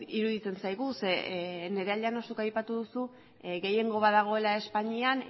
iruditzen zaigu zeren nerea llanos zuk aipatu duzu gehiengo bat dagoela espainian